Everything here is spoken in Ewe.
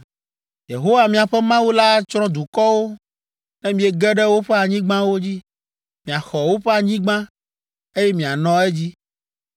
“Yehowa, miaƒe Mawu la atsrɔ̃ dukɔwo ne miege ɖe woƒe anyigbawo dzi. Miaxɔ woƒe anyigba, eye mianɔ edzi.